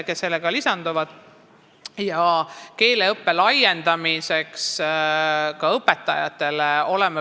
Oleme loonud soodustingimusi keeleõppe laiendamiseks ka õpetajatele.